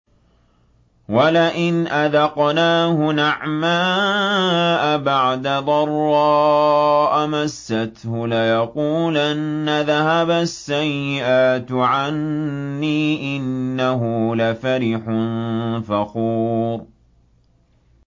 وَلَئِنْ أَذَقْنَاهُ نَعْمَاءَ بَعْدَ ضَرَّاءَ مَسَّتْهُ لَيَقُولَنَّ ذَهَبَ السَّيِّئَاتُ عَنِّي ۚ إِنَّهُ لَفَرِحٌ فَخُورٌ